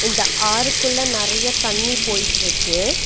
இந்த ஆறுக்குள்ள நறைய தண்ணி போய்ற்றுக்கு.